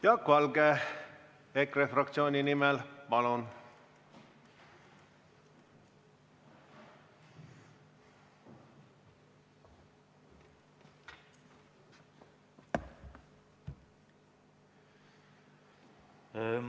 Jaak Valge EKRE fraktsiooni nimel, palun!